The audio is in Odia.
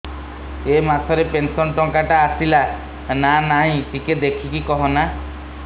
ଏ ମାସ ରେ ପେନସନ ଟଙ୍କା ଟା ଆସଲା ନା ନାଇଁ ଟିକେ ଦେଖିକି କହନା